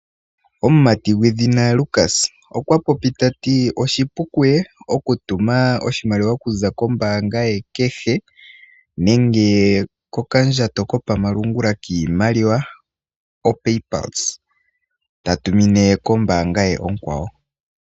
Omumati gwedhina Lukas okwa popile ta ti âoshipu kuye oku tuma oshimaliwa kuza kombaanga ye kehe nenge kokandjato kopamalungula kiimaliwa oPaypluse ta tumine ombaanga ye onkwawoâ.